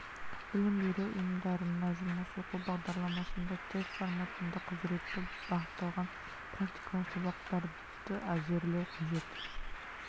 білім беру ұйымдарына жұмыс оқу бағдарламасында тест формасында құзыретті бағытталған практикалық сабақтарды әзірлеу қажет